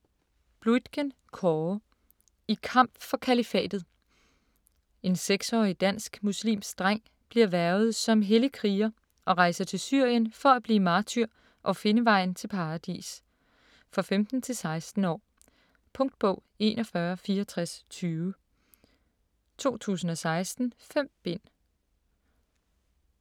Bluitgen, Kåre: I kamp for Kalifatet En 16-årig dansk muslimsk dreng bliver hvervet som hellig kriger og rejser til Syrien for at blive martyr og finde vejen til paradis. For 15-16 år. Punktbog 416420 2016. 5 bind.